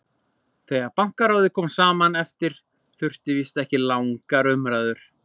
Þegar Bankaráðið kom saman daginn eftir þurfti víst ekki langar umræður.